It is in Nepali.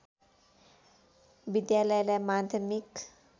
विद्यालयलाई माध्यमिक